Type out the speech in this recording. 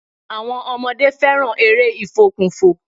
Àwọmn ọmọdé fẹràn eré ìfòkùnfò.